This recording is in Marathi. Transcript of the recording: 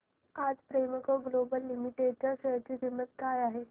आज प्रेमको ग्लोबल लिमिटेड च्या शेअर ची किंमत काय आहे